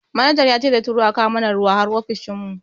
Manaja yace zai turo a kawo mana ruwa har ofishin mu.